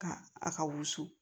Ka a ka wusu